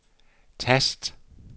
tast